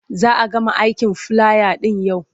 Za a gama aikin filaya ɗin yau.